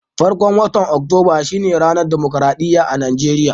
Farkon watan Oktoba shine ranar damukarɗiya a Najeriya.